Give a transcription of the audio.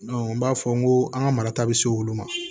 n b'a fɔ n ko an ka marata bɛ se olu ma